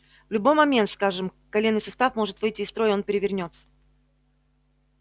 в любой момент скажем коленный сустав может выйти из строя и он перевернётся